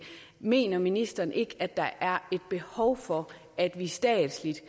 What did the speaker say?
mener ministeren ikke at der er behov for at vi statsligt